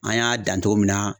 An y'a dan cogo min na